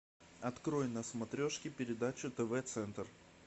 открой на смотрешке передачу тв центр